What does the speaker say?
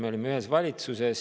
Me olime ühes valitsuses.